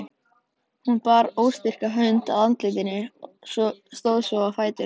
Hún bar óstyrka hönd að andlitinu, stóð svo á fætur.